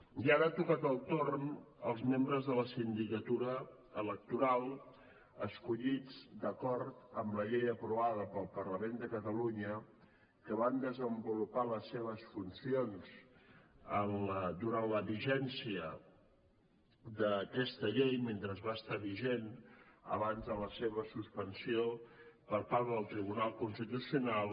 i ara ha tocat el torn als membres de la sindicatura electoral escollits d’acord amb la llei aprovada pel parlament de catalunya que van desenvolupar les seves funcions durant la vigència d’aquesta llei mentre va estar vigent abans de la seva suspensió per part del tribunal constitucional